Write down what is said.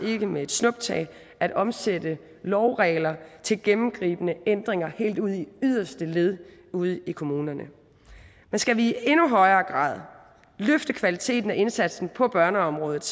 med et snuptag at omsætte lovregler til gennemgribende ændringer helt ude i yderste led ude i kommunerne men skal vi i endnu højere grad løfte kvaliteten og indsatsen på børneområdet